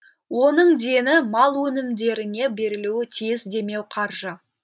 оның дені мал өнімдеріне берілуі тиіс демеуқаржы